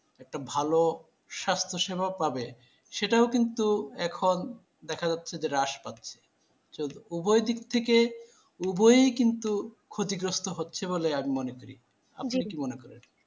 একটা ভালো স্বাস্থ্যসেবা পাবে সেটাও কিন্তু এখন দেখা যাচ্ছে যে হ্রাস পাচ্ছে উভয়দিকে উভয় কিন্তু ক্ষতিগ্রস্ত হচ্ছে বলে আমি মনে করি, আপনি কি মনে করেন